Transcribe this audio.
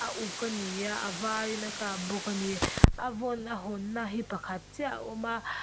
a uk ani a a var in a tlak bawk ani a vawn a hawnna hi pakhat chiah a awm a.